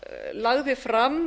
lagði fram